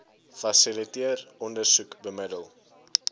fasiliteer ondersoek bemiddel